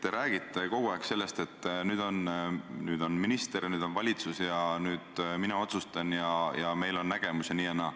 Te räägite kogu aeg sellest, et nüüd on minister ja nüüd on valitsus ja nüüd mina otsustan ja meil on nägemus ja nii ja naa.